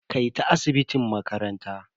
Kai ta asibitin makaranta.